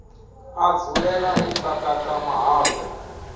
a dzulela u kakata mahafhe